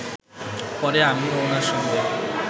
পরে আমি ওনার সঙ্গে